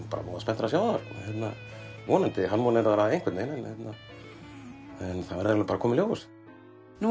bara voða spenntur að sjá það vonandi harmonerar það einhvern veginn en það verður bara að koma í ljós nú